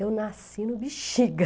Eu nasci no bexiga.